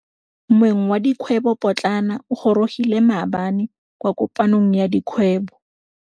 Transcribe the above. Moêng wa dikgwêbô pôtlana o gorogile maabane kwa kopanong ya dikgwêbô.